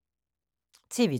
TV 2